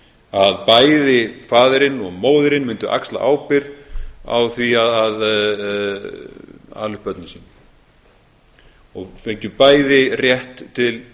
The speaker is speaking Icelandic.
að bæði faðirinn og móðirin mundu axla ábyrgð á því að ala upp börnin sín og fengju bæði rétt til